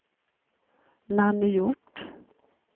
Nanny Hjort